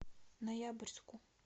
ноябрьску